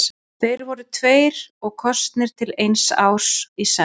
Þeir voru tveir og kosnir til eins árs í senn.